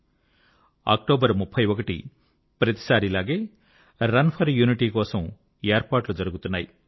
31 October ప్రతీసారిలాగే run for unity కోసం ఏర్పాట్లు జరుగుతున్నాయి